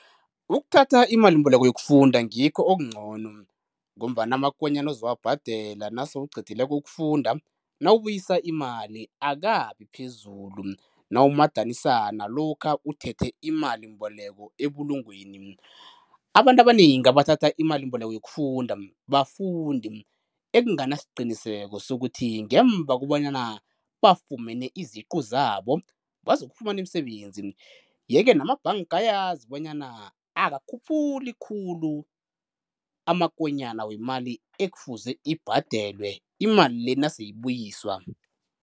Ukuthatha imalimboleko yokufunda ngikho okuncono, ngombana amakonyana ozokuwabhadela nasewucedileko ukufunda nawubuyisa imali akabi phezulu nawumadanisa nalokha uthethe imalimboleko ebulungweni. Abantu abanengi abathatha imalimboleko yokufunda bafundi ekuganasqiniseko sokuthi ngemva bonyana bafumene iziqu zabo bazokufumana imisebenzi, ye ke namabhanka ayazi bonyana akakhuphuli khulu amakonyana wemali ekufuze ibhadelwe imali le nase ibuyiswa.